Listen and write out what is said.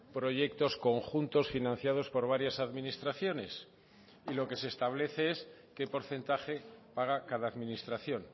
proyectos conjuntos financiados por varias administraciones y lo que se establece es qué porcentaje paga cada administración